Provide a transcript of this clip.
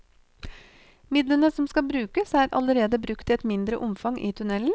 Midlene som skal brukes, er allerede brukt i et mindre omfang i tunnelen.